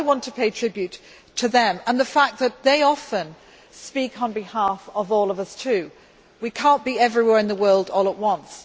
So I want to pay tribute to them and the fact that they often speak on behalf of all of us too we cannot be everywhere in the world all at once.